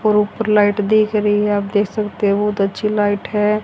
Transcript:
और ऊपर लाइट दिख रही है आप देख सकते हो बहोत अच्छी लाइट है।